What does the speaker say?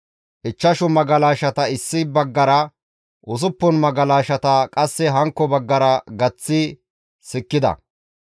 Ichchashu magalashata issi baggara, usuppun magalashata qasse hankko baggara gaththidi sikkida.